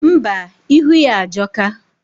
Ḿbà, ilu ya ajoka.